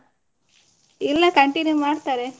ಇಲ್ಲ continue ಮಾಡ್ತಾರೆ.